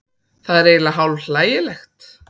Það er eiginlega hálf hlægilegt